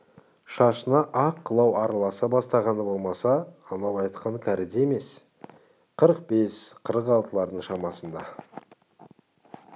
шашына ақ қылау араласа бастағаны болмаса анау айтқан кәрі де емес қырық бес қырық алтылардың ішінде